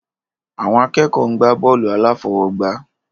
Àwọn akẹ́kọ̀ọ́ ń gbá bọ́ọ̀lù aláfọwọ́gbá